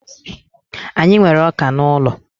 Anyị nwere ọka n'ụlọ.